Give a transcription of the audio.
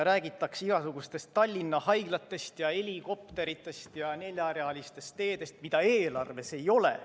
Räägitakse igasugustest Tallinna haiglatest ja helikopteritest ja neljarealistest teedest, mida eelarves ei ole.